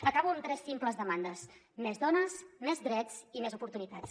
acabo amb tres simples demandes més dones més drets i més oportunitats